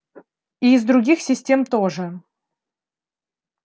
и из других систем тоже